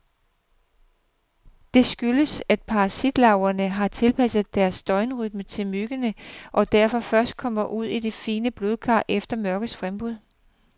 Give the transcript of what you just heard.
Det skyldes, at parasitlarverne har tilpasset deres døgnrytme til myggene, og derfor først kommer ud i de fine blodkar efter mørkets frembrud.